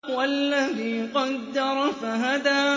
وَالَّذِي قَدَّرَ فَهَدَىٰ